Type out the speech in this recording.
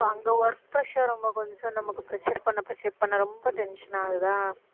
அங்க work pressure ரொம்ப கொஞ்சம் நமக்கு pressure பண்ண pressure பண்ண ரொம்ப tension ஆகுதா